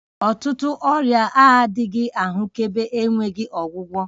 Ọtụtụ ọrịa na-adịghị ahụkebe enweghị ọgwụgwọ